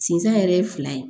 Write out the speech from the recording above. Sinzan yɛrɛ ye fila ye